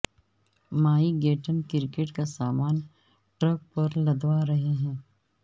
Mike Gatting cricket کا سامان truck پر لدوا رہے ہیں